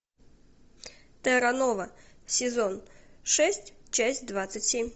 терра нова сезон шесть часть двадцать семь